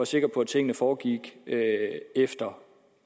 sikker på at tingene foregik efter